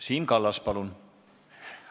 Siim Kallas, palun!